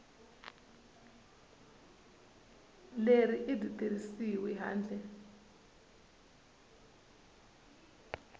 leri a byi tirhisiwi handle